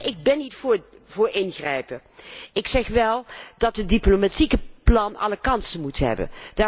Ik ben niet voor ingrijpen, ik zeg wel dat het diplomatieke plan alle kansen moet hebben.